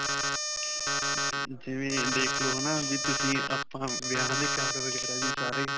ਜਿਵੇਂ ਅਅ ਦੇਖ ਲੋ ਹੈ ਨਾ ਵੀ ਤੁਸੀਂ ਆਪਾਂ ਵਿਆਹਾਂ ਦੇ card ਵਗੈਰਾ ਵੀ ਸਾਰੇ.